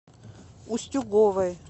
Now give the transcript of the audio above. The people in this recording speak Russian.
устюговой